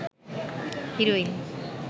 heroine